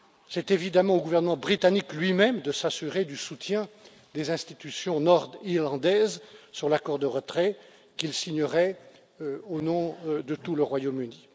C'est évidemment au gouvernement britannique lui même, de s'assurer du soutien des institutions nord irlandaises sur l'accord de retrait qu'il signerait au nom de tout le Royaume Uni.